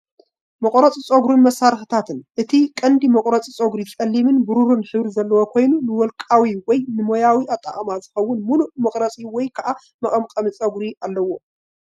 መቑረጺ ጸጉርን መሳርሒታትን ።እቲ ቀንዲ መቑረጺ ጸጉሪ ጸሊምን ብሩርን ሕብሪ ዘለዎ ኮይኑ፡ ንውልቃዊ ወይ ንሞያዊ ኣጠቓቕማ ዝኸውን ምሉእ መቑረጺ ወይ ከዓ መቐምቀሚ ጸጉሪ ኣለዎ።